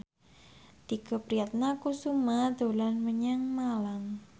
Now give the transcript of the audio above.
Tike Priatnakusuma dolan menyang Malang